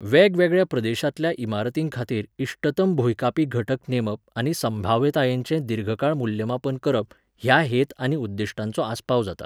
वेगवेगळ्या प्रदेशांतल्या इमारतींखातीर इष्टतम भुंयकांपी घटक नेमप आनी संभाव्यतायेचें दीर्घकाळ मूल्यमापन करप ह्या हेत आनी उद्दिश्टांचो आस्पाव जाता.